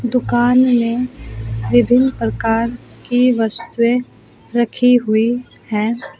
दुकान में विभिन्न प्रकार की वस्तुएं रखी हुई हैं।